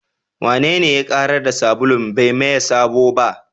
Wanene ya ƙarar da sabulun bai maye sabo ba?